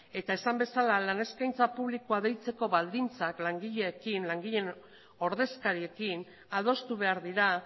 eta esan bezala lan eskaintza publikoa deitzeko baldintzak langileekin langileen ordezkariekin adostu behar dira